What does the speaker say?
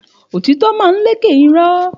Òtítò ma ń lẹkẹ ìró